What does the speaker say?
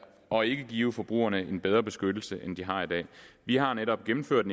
og ikke give forbrugerne en bedre beskyttelse end de har i dag vi har netop gennemført